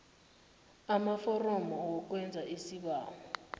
amaforomo wokwenza isibawo